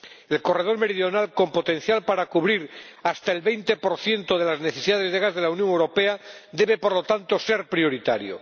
El corredor meridional, con potencial para cubrir hasta el 20 de las necesidades de gas de la Unión Europea, debe por lo tanto ser prioritario.